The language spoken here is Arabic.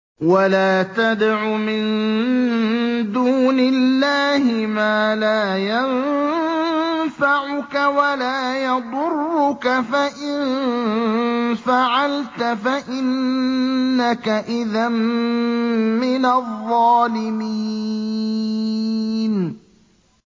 وَلَا تَدْعُ مِن دُونِ اللَّهِ مَا لَا يَنفَعُكَ وَلَا يَضُرُّكَ ۖ فَإِن فَعَلْتَ فَإِنَّكَ إِذًا مِّنَ الظَّالِمِينَ